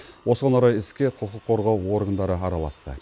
осыған орай іске құқық қорғау органдары араласты